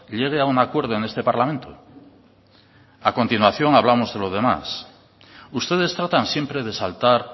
llegue a un acuerdo en este parlamento a continuación hablamos de los demás ustedes tratan siempre de saltar